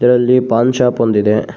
ಇದರಲ್ಲಿ ಪಾನ್ ಶಾಪ್ ಒಂದಿದೆ.